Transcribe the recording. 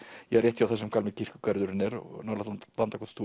rétt hjá þar sem gamli kirkjugarðurinn er nálægt